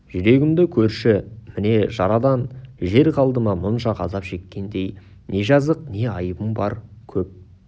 жүрегімді көрші міне жарадан жер қалды ма мұнша ғазап шеккендей не жазық не айыбым бар көп